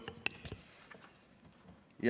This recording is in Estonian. Kolm minutit.